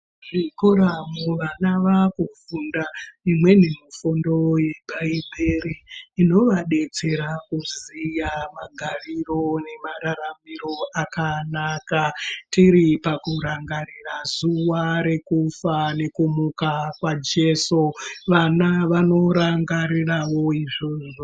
Zvikoramu vana vaakufunda imweni mufundo yebhaibheri inovadetsera kuziya magariro nemararamiro akanaka. Tiri pakurangarira zuva rekufa nekumuka kwaJeso, vana vanorangarirawo izvozvo.